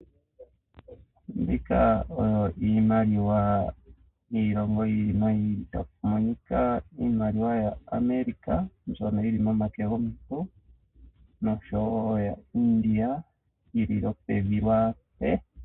Opu na iimaliwa yiilongo ya yoolokothana ngaashi yaAmerican noshowo yaIndia. Iimaliwa ohayi longithwa okulanda iipumbiwa yesiku kehe ngaashi iikulya, iikutu nosho tuu.